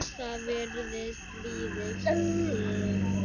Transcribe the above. Það virðist liðin tíð.